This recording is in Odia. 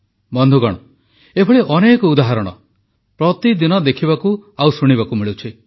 ବନ୍ଧୁଗଣ ଏଭଳି ଅନେକ ଉଦାହରଣ ପ୍ରତିଦିନ ଦେଖିବାକୁ ଓ ଶୁଣିବାକୁ ମିଳୁଛି